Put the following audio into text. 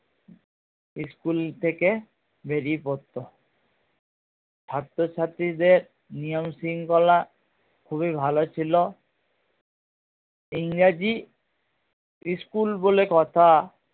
school থেকে বেরিয়ে পড়তো ছাত্র ছাত্রীদের নিয়ম শৃঙ্খলা খুবই ভালো ছিলো ইংরাজি school বলে কথা